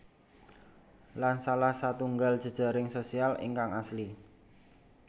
Lan salah satunggal jejaring sosial ingkang asli